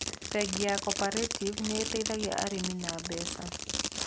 Bengi ya Cooperative nĩ ĩteithagia arĩmi na mbeca.